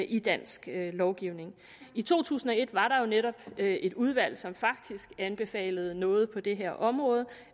i dansk lovgivning i to tusind og et var der jo netop et udvalg som faktisk anbefalede noget på det her område